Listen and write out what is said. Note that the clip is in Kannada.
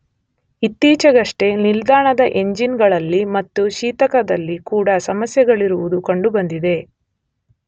ಇತ್ತೀಚೆಗಷ್ಟೇ ನಿಲ್ದಾಣದ ಎಂಜಿನ್ ಗಳಲ್ಲಿ ಮತ್ತು ಶೀತಕದಲ್ಲಿ ಕೂಡ ಸಮಸ್ಯೆಗಳಿರುವುದು ಕಂಡುಬಂದಿದೆ.